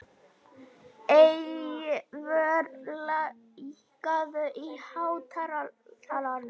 Eyvör, lækkaðu í hátalaranum.